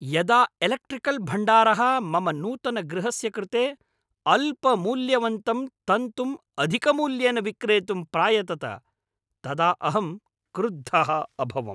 यदा एलेक्ट्रिकल् भण्डारः मम नूतनगृहस्य कृते अल्पमूल्यवन्तं तन्तुं अधिकमूल्येन विक्रेतुं प्रायतत तदा अहं क्रुद्धः अभवम्।